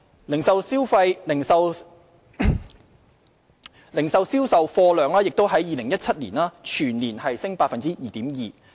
零售業總銷貨價值亦在2017年全年升 2.2%。